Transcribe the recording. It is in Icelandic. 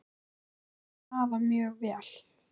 Ég þekki hafa mjög vel.